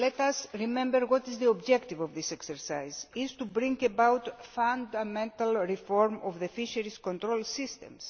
Let us remember that the objective of this exercise is to bring about fundamental reform of the fisheries control systems.